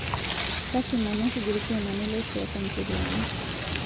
Lasima nesuj lkiomani le siasa ncheriani